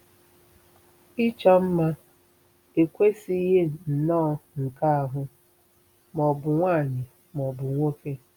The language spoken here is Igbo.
Ịchọ mma ekwesịghị nnọọ nke ahụ, ma ọ̀ bụ nwanyị ma ọ bụ nwoke.